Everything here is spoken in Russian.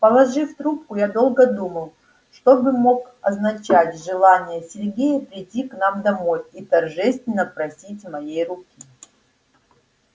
положив трубку я долго думала что бы мог означать желание сергея прийти к нам домой и торжественно просить моей руки